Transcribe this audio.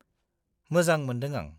-मोजां मोन्दों आं।